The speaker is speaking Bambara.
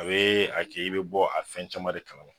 A be a ke i bɛ bɔ, a fɛn caman de kalama